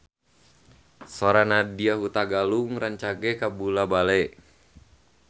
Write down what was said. Sora Nadya Hutagalung rancage kabula-bale